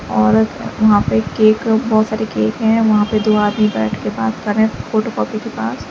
और वहां पे केक बहोत सारे केक हैं वहां पे दो आदमी बैठ कर बात कर रहे हैं फोटो कॉपी के पास।